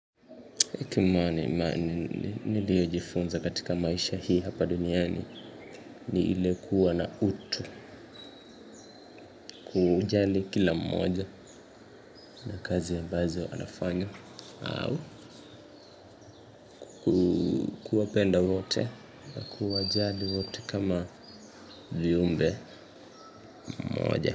Kitu niliyojifunza katika maisha hii hapa duniani, ni ile kuwa na utu kujali kila mmoja, na kazi ambazo anafanya. Au, kuwapenda wote na kuwa jali wote kama viumbe, moja.